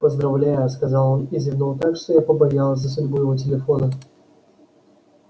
поздравляю сказал он и зевнул так что я побоялась за судьбу его телефона